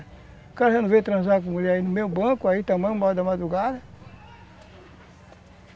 O cara já não veio transar com mulher aí no meu banco, aí também, uma hora da madrugada.